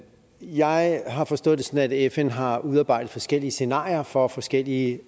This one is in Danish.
jeg har forstået det sådan at fn har udarbejdet forskellige scenarier for forskellige